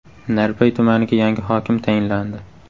Narpay tumaniga yangi hokim tayinlandi.